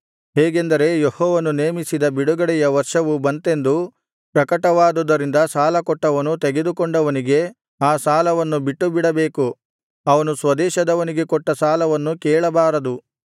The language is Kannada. ಹೇಗೆಂದರೆ ಯೆಹೋವನು ನೇಮಿಸಿದ ಬಿಡುಗಡೆಯ ವರ್ಷವು ಬಂತೆಂದು ಪ್ರಕಟವಾದುದರಿಂದ ಸಾಲಕೊಟ್ಟವನು ತೆಗೆದುಕೊಂಡವನಿಗೆ ಆ ಸಾಲವನ್ನು ಬಿಟ್ಟುಬಿಡಬೇಕು ಅವನು ಸ್ವದೇಶದವನಿಗೆ ಕೊಟ್ಟ ಸಾಲವನ್ನು ಕೇಳಬಾರದು